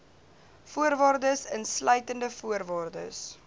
voorwaardes insluitende voorwaardes